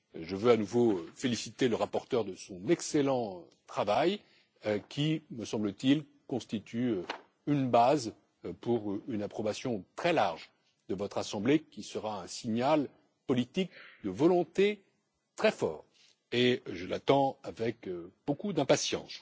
Je veux à nouveau féliciter le rapporteur pour son excellent travail qui me semble t il constitue une base pour une approbation très large de votre Assemblée, laquelle sera un signal politique de volonté très fort et que j'attends avec beaucoup d'impatience.